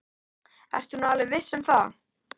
Ertu nú alveg viss um það.